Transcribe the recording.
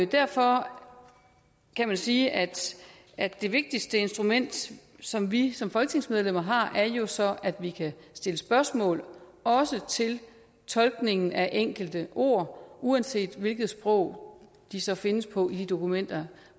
derfor kan man sige at at det vigtigste instrument som vi som folketingsmedlemmer har jo så er at vi kan stille spørgsmål også til tolkningen af enkelte ord uanset hvilket sprog de så findes på i de dokumenter